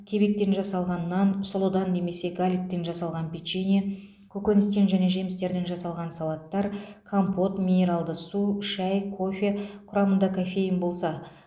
кебектен жасалған нан сұлыдан немесе галеттен жасалған печенье көкөністен және жемістерден жасалған салаттар компот минералды су шәй кофе құрамында кофеин болса